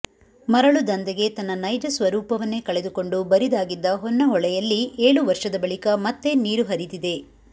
ಮರಳು ದಂಧೆಗೆ ತನ್ನ ನೈಜ ಸ್ವರೂಪವನ್ನೇ ಕಳೆದುಕೊಂಡು ಬರಿದಾಗಿದ್ದ ಹೊನ್ನಹೊಳೆಯಲ್ಲಿ ಏಳು ವರ್ಷದ ಬಳಿಕ ಮತ್ತೆ ನೀರು ಹರಿದಿದೆ